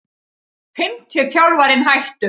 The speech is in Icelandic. Fimmti þjálfarinn hættur